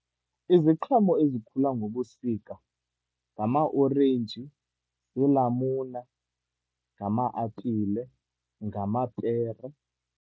Iziqhamo ezikhula ngobusika ngamaorenji, ziilamuna, ngama-apile, ngamapere.